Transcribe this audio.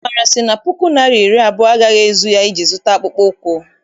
Amara sị na puku naịra na iri abụọ agaghị ezuru ya iji zụta akpụkpọ ụkwụ.